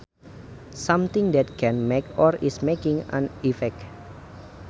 Something that can make or is making an effect